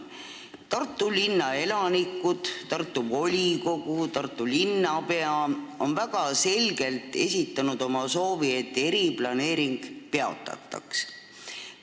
Tartu linna elanikud, Tartu volikogu ja Tartu linnapea on väga selgelt esitanud oma soovi, et eriplaneering peatataks.